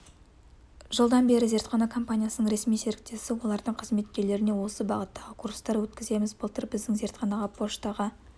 жылдан бері зертхана компаниясының ресми серіктесі олардың қызметкерлеріне осы бағыттағы курстар өткіземіз былтыр біздің зертхана поштаға